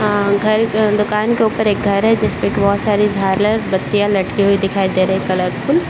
अ घर दूकान के ऊपर एक घर है जिसपे बहुत सारे झालर बत्तियां लटकी हुई दिखाई दे रही है कलरफुल ।